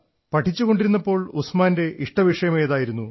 പഠിച്ചുകൊണ്ടിരുന്നപ്പോൾ ഉസ്മാന്റെ ഇഷ്ടവിഷയം ഏതായിരുന്നു